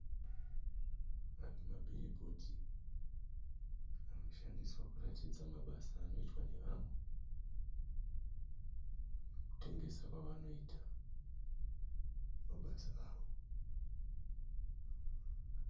Mabhiribhodhi anoshandiswa kuratidza mabasa anoitwa nevamwe nekutengesa kwavanoita mabasa avo.